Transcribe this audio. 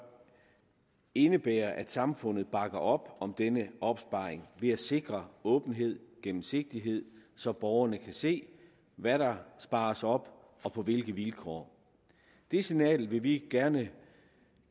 indebære at samfundet bakker op om denne opsparing ved at sikre åbenhed gennemsigtighed så borgerne kan se hvad der spares op og på hvilke vilkår det signal vil vi gerne